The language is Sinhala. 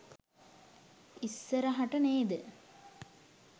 ඉස්සරහට නේද?